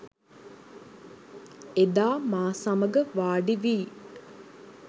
එදා මා සමග වාඩි වී